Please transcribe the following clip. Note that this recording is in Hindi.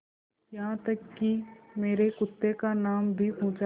यहाँ तक कि मेरे कुत्ते का नाम भी पूछा